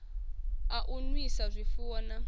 a u nwisa zwifuwo na